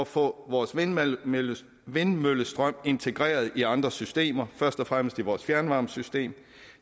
få vores vindmøllestrøm integreret i andre systemer først og fremmest vores fjernvarmesystem